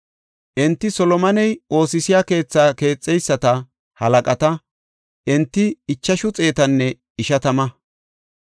Enti Solomoney oosisiya keethaa keexeyisata halaqata; enti ichashu xeetanne ishatama.